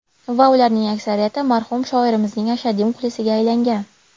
Va ularning aksariyati marhum shoirimizning ashaddiy muxlisiga aylangan.